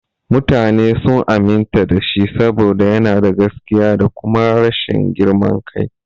Mutane sun aminta da shi saboda yana da gaskiya da kuma rashin girman kai.